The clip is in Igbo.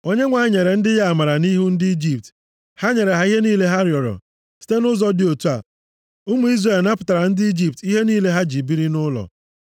Onyenwe anyị nyere ndị ya amara nʼihu ndị Ijipt, ha nyere ha ihe niile ha rịọrọ. Site nʼụzọ dị otu a, ụmụ Izrel napụtara ndị Ijipt ihe niile ha ji biri nʼụlọ.